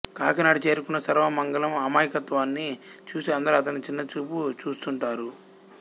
కాకినాడ చేరుకున్న సర్వమంగళం అమాయకత్వాన్ని చూసి అందరూ అతన్ని చిన్నచూపు చూస్తుంటారు